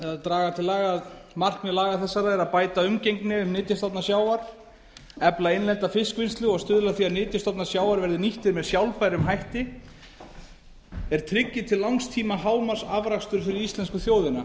draga til laganna markmið laga þessara er að bæta umgengni um nytjastofna sjávar efla innlenda fiskvinnslu og stuðla að því að nytjastofnar sjávar verði nýttir með sjálfbærum hætti er tryggi til langs tíma hámarksafrakstur fyrir íslensku þjóðina